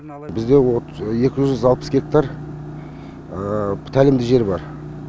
бізде екі жүз алпыс гектар тәлімдік жер бар